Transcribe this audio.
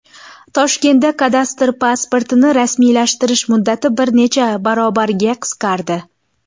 Toshkentda kadastr pasportini rasmiylashtirish muddati bir necha barobarga qisqardi.